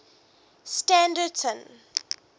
standerton